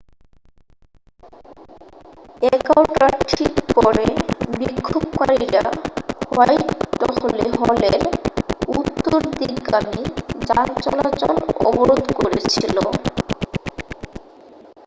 11:00 টার ঠিক পরে বিক্ষোভকারীরা হোয়াইটহলের উত্তরদিকগামি যানচলাচল অবরোধ করেছিল